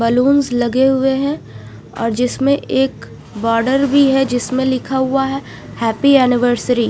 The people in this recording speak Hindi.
बलून्स लगे हुए है और जिसमे एक बॉर्डर भी है जिसमे लिखा हुआ है हैप्पी ऍनिवर्सरी ।